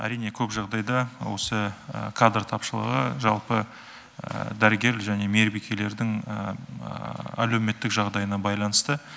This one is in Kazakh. әрине көп жағдайда осы кадр тапшылығы жалпы дәрігер және мейірбикелердің әлеуметтік жағдайына байланысты